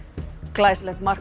glæsilegt mark